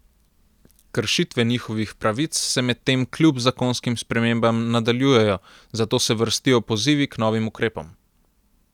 Kršitve njihovih pravic se medtem kljub zakonskim spremembam nadaljujejo, zato se vrstijo pozivi k novim ukrepom.